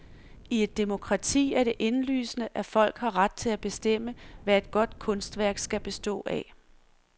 I et demokrati er det indlysende, at folk har ret til at bestemme, hvad et godt kunstværk skal bestå af.